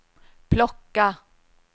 plocka